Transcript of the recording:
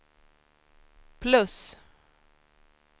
plus